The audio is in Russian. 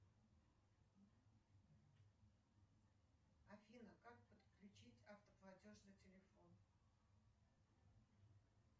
афина как подключить автоплатеж на телефон